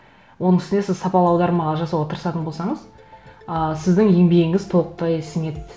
оның үстіне сіз сапалы аудармалар жасауға тырысатын болсаңыз ы сіздің еңбегіңіз толықтай сіңеді